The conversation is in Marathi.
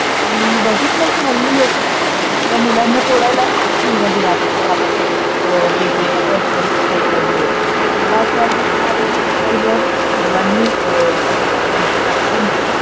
आणि मी बगितल की हल्ली लोक आपल्या मुलांना सोडायला स्कुलमध्ये जात असतात आपआपल्या वेगवेगळ्या परसनल वेहीकल घेऊन. तर मला अस वाटत त्या व्यतिरिक्त जर मुलांनी म्हणजे पालकांनी